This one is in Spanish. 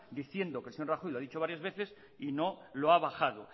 diciendo que el señor rajoy lo ha dicho varias veces y no lo ha bajado